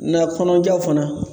kɔnɔjaw fana